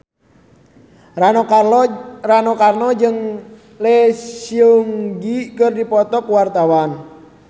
Rano Karno jeung Lee Seung Gi keur dipoto ku wartawan